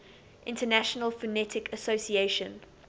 international phonetic association